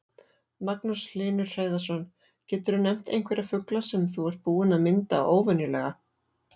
Magnús Hlynur Hreiðarsson: Geturðu nefnt einhverja fugla sem þú ert búinn að mynda óvenjulega?